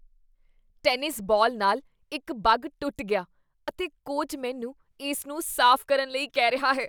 Tennis ball ਨਾਲ ਇੱਕ bug ਟੁੱਟ ਗਿਆ ਅਤੇ ਕੋਚ ਮੈਨੂੰ ਇਸ ਨੂੰ ਸਾਫ਼ ਕਰਨ ਲਈ ਕਹਿ ਰਿਹਾ ਹੈ।